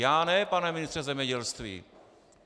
Já ne, pane ministře zemědělství!